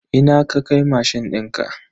Ina ka kai mashin dinka?